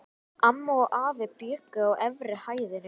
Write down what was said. Amma og afi bjuggu á efri hæðinni.